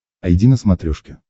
айди на смотрешке